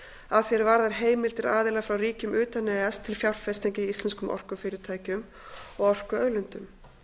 að því er varðar heimildir aðila frá ríkjum utan e e s til fjárfestinga í íslenskum orkufyrirtækjum og orkuauðlindum